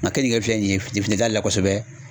kenike filɛ nin ye fili t'a la kosɛbɛ.